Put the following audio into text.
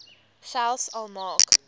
selfs al maak